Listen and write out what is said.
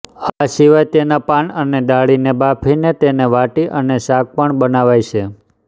આ સિવાય તેના પાન અને દાંડીને બાફી તેને વાટી અને શાક પણ બનાવાય છે